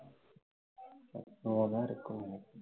team னு